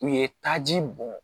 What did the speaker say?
U ye taji bɔn